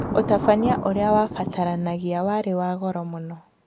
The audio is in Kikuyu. Ũtabania ũrĩa wabataranagia warĩ wa goro mũno